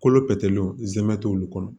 Kolo pɛtɛlenw zɛmɛ t'olu kɔnɔ